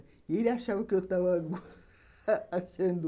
E ele achava que eu estava... achando...